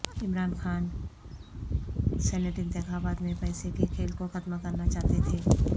Imran Khan senate انتخابات میں پیسے کے کھیل کوختم کرناچاہتے تھے